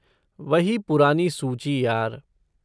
वही पुरानी सूची, यार।